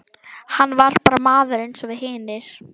Hann var bara maður eins og við hinir.